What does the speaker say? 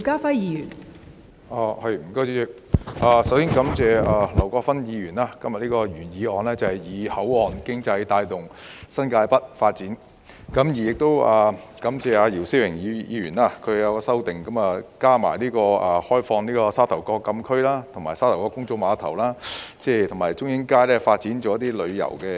代理主席，我首先感謝劉國勳議員今天提出"以口岸經濟帶動新界北發展"的原議案，亦感謝姚思榮議員提出的修正案，加入"開放部分沙頭角墟禁區，利用沙頭角公眾碼頭發展海上旅遊及中英街發展邊境旅遊"。